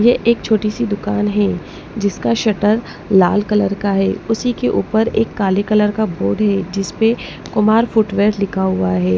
ये एक छोटी सी दुकान है जिसका शटर लाल कलर का है उसी के ऊपर एक काले कलर का बोर्ड है जिस पे कुमार फुटवियर लिखा हुआ है।